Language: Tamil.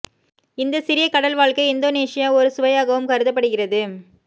இந்த சிறிய கடல் வாழ்க்கை இந்தோனேஷியா ஒரு சுவையாகவும் கருதப்படுகிறது